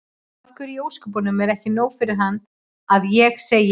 Af hverju í ósköpunum er ekki nóg fyrir hann að ég segi